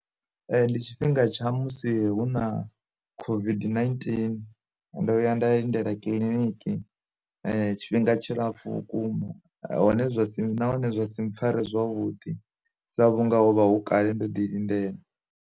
Ndi tshifhinga tsha musi hu na COVID-19, hu ndo vhuya nda lindela kiḽiniki tshifhinga tshilapfu vhukuma hone zwa si nahone zwa si mpfare zwa vhuḓi sa vhunga hovha hu kale ndo ḓi lindela.